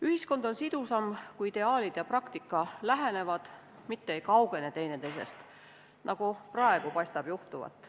Ühiskond on sidusam, kui ideaalid ja praktika lähenevad, mitte ei kaugene teineteisest, nagu praegu paistab juhtuvat.